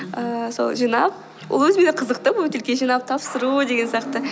ііі сол жинап ол өзіме қызықты бөтелке жинап тапсыру деген сияқты